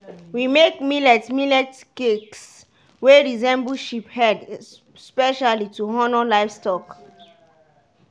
we make millet millet cakes wey resemble sheep head specially to honour livestock.